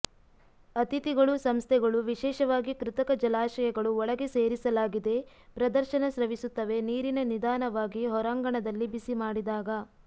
ಅತಿಥಿಗಳು ಸಂಸ್ಥೆಗಳು ವಿಶೇಷವಾಗಿ ಕೃತಕ ಜಲಾಶಯಗಳು ಒಳಗೆ ಸೇರಿಸಲಾಗಿದೆ ಪ್ರದರ್ಶನ ಸ್ರವಿಸುತ್ತವೆ ನೀರಿನ ನಿಧಾನವಾಗಿ ಹೊರಾಂಗಣದಲ್ಲಿ ಬಿಸಿ ಮಾಡಿದಾಗ